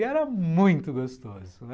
E era muito gostoso, né.